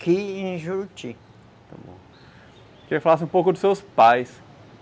Queria que falasse um pouco dos seus pais.